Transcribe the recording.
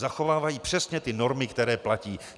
Zachovávají přesně ty normy, které platí.